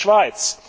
auch die Schweiz.